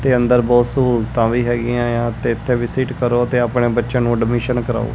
ਤੇ ਅੰਦਰ ਬਹੁਤ ਸਹੂਲਤਾਂ ਵੀ ਹੈਗੀਆਂ ਆ ਤੇ ਇੱਥੇ ਵਿਸਿਟ ਕਰੋ ਤੇ ਆਪਣੇ ਬੱਚਿਆਂ ਨੂੰ ਐਡਮਿਸ਼ਨ ਕਰਾਓ।